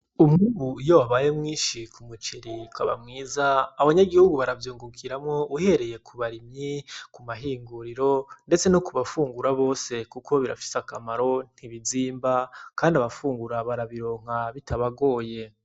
Umwimbu iyo wabaye mwinshi ku muceri ukaba mwiza abanyagihugu baravyungukiramwo uhereye ku barimyi, ku mahinguriro ndetse no ku bafungura bose kuko birafise akamaro ntibizimba kandi abafungura barabironka bitabagoye.